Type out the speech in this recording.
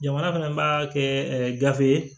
Jamana fana b'a kɛ gafe ye